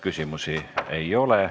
Küsimusi ei ole.